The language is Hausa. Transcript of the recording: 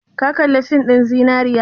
Ka kalli fin ɗin zinariya?